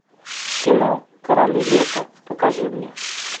кино короли лета покажи мне